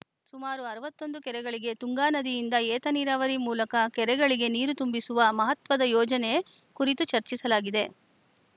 ಸುಮಾರು ಅರವತ್ತ್ ಒಂದು ಕೆರೆಗಳಿಗೆ ತುಂಗಾ ನದಿಯಿಂದ ಏತ ನೀರಾವರಿ ಮೂಲಕ ಕೆರೆಗಳಿಗೆ ನೀರು ತುಂಬಿಸುವ ಮಹತ್ವದ ಯೋಜನೆ ಕುರಿತು ಚರ್ಚಿಸಲಾಗಿದೆ